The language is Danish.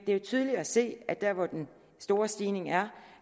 er tydeligt at se at der hvor den store stigning er